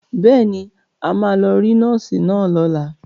Bẹ́ẹ̀ ni, a máa lọ rí nọ́ọ́sì náà lọ́la.